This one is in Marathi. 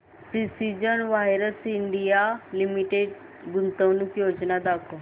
प्रिसीजन वायर्स इंडिया लिमिटेड गुंतवणूक योजना दाखव